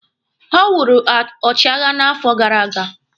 Ọ wụrụ ọchịagha n'afọ gara aga.